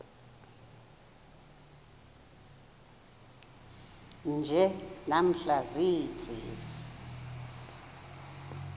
nje namhla ziintsizi